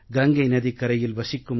கங்கை நதிக்கரையில் வசிக்கும்